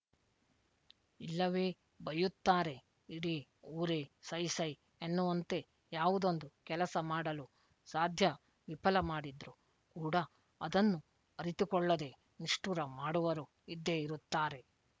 ಇಲ್ಲವೇ ಬೈಯುತ್ತಾರೆ ಇಡೀ ಊರೆ ಸೈ ಸೈ ಎನ್ನುವಂತೆ ಯಾವುದೊಂದು ಕೆಲಸ ಮಾಡಲು ಸಾಧ್ಯವಿಪಲ ಮಾಡಿದ್ರು ಕೂಡ ಅದನ್ನು ಅರಿತುಕೊಳ್ಳದೆ ನಿಷ್ಠುರ ಮಾಡುವರು ಇದ್ದೇ ಇರುತ್ತಾರೆ